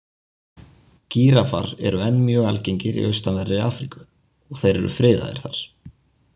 Gíraffar eru enn mjög algengir í austanverðri Afríku og þeir eru friðaðir þar.